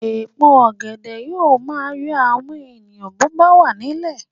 Èpo ọ̀gẹ̀dẹ̀ yóò máa yọ àwọn èèyàn bó bá wà nílẹ̀